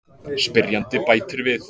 Spyrjandi bætir við: